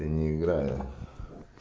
я не играю